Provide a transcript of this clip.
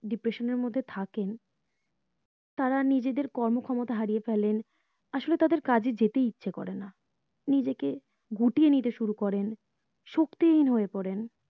depression এর মধ্যে থাকেন তারা নিজেদের কর্ম ক্ষমতা হারিয়ে ফেলেন আসলে তাদের কাজে যেতেই ইচ্ছা করে না নিজেকে গুটিয়ে নিতে শুরু করেন শক্তি হীন হয়ে পড়েন